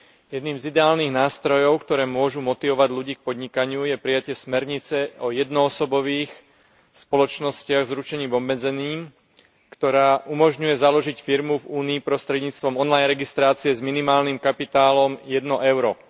Jedným z ideálnych nástrojov, ktoré môžu motivovať ľudí k podnikaniu, je prijatie smernice o jednoosobových spoločnostiach s ručením obmedzeným, ktorá umožňuje založiť firmu v Únii prostredníctvom online registrácie s minimálnym kapitálom 1 euro.